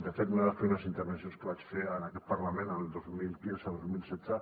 de fet una de les primeres intervencions que vaig fer en aquest parlament el dos mil quinzedos mil setze